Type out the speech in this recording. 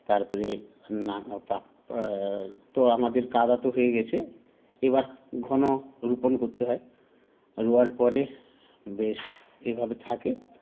তারপরে না পাক আ তো আমাদের কাঁদা তো হয়ে গেছে এবার ঘন রোপণ করতে হয় রোয়ার পরে বেশ এভাবে থাকে